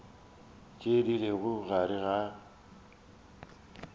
tše di lego gare ga